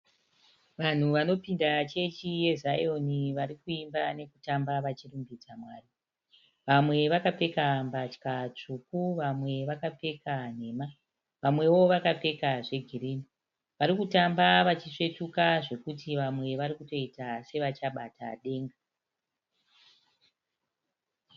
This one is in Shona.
Vanhu vanopinda chechi yeZayoni vari kuimba nekutamba vachirumbidza mwari. Vamwe vakapfeka mbatya tsvuku, vamwe vakapfeka nhema. Vamwewo vakapfeka girini. Vari kutamba vachisvetuka zvekuti vamwe vari kutoita sevachabata denga.